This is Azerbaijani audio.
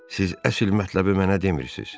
Siz əsl mətləbi mənə demirsiz?